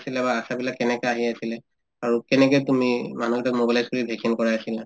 আহিছিলে বা আশাবিলাক কেনেকে আহি আছিলে আৰু কেনেকে তুমি মানুহকেইটাক mobilize কৰি vaccine কৰাই আছিলা